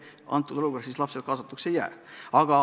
Selles olukorras lapsed kaasatud ei oleks.